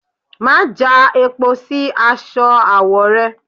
Má já epo sí aṣọ awo rẹ!